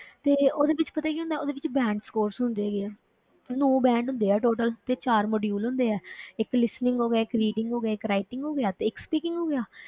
ਤੇ ਉਹਦੇ ਵਿੱਚ ਪਤਾ ਕੀ ਹੁੰਦਾ ਹੈ ਉਹਦੇ ਵਿੱਚ band scores ਹੁੰਦੇ ਹੈਗੇ ਆ ਨੋਂ band ਹੁੰਦੇ ਆ total ਤੇ ਚਾਰ module ਹੁੰਦੇ ਆ ਇੱਕ listening ਹੋ ਗਿਆ, ਇੱਕ reading ਹੋ ਗਿਆ, ਇੱਕ writing ਹੋ ਗਿਆ ਤੇ ਇੱਕ speaking ਹੋ ਗਿਆ।